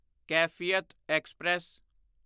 Kaifiyat express